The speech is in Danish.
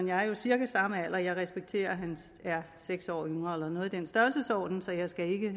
jeg cirka samme alder jeg respekterer at han er seks år yngre eller noget i den størrelsesorden så jeg skal ikke